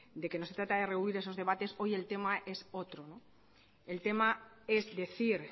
de que no se trata de rehuir esos debates hoy el tema es otro el tema es decir